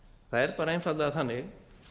það er einfaldlega þannig